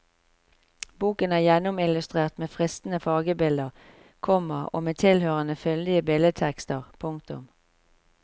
Boken er gjennomillustrert med fristende fargebilder, komma og med tilhørende fyldige billedtekster. punktum